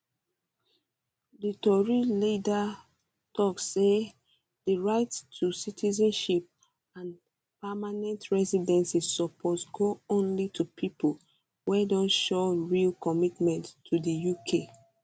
di tory leader tok say di right to citizenship and permanent residency suppose go only to pipo wey don show real commitment to di uk